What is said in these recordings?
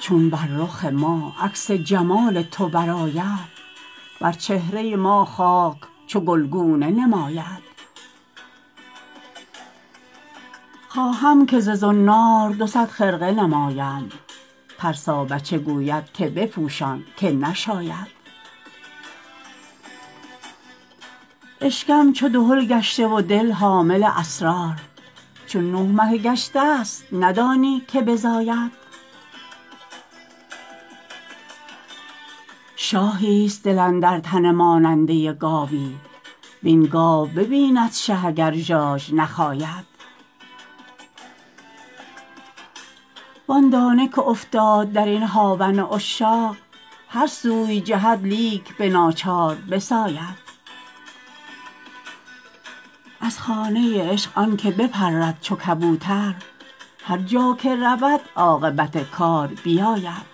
چون بر رخ ما عکس جمال تو برآید بر چهره ما خاک چو گلگونه نماید خواهم که ز زنار دوصد خرقه نماید ترسابچه گوید که بپوشان که نشاید اشکم چو دهل گشته و دل حامل اسرار چون نه مهه گشتست ندانی که بزاید شاهیست دل اندر تن ماننده گاوی وین گاو ببیند شه اگر ژاژ نخاید وان دانه که افتاد در این هاون عشاق هر سوی جهد لیک به ناچار بساید از خانه عشق آنک بپرد چو کبوتر هر جا که رود عاقبت کار بیاید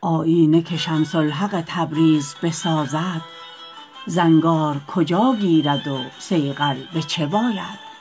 آیینه که شمس الحق تبریز بسازد زنگار کجا گیرد و صیقل به چه باید